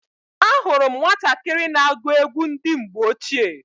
Ahụrụ m nwatakịrị na-agụ egwu ndị mgbe ochie.